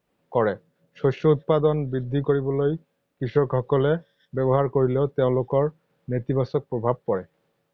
কৰে। শস্য উৎপাদন বৃদ্ধিকৰিবলৈ কৃষকসকলে ব্যৱহাৰ কৰিলেও তেওঁলোকৰ নেতিবাচক প্ৰভাৱ পৰে।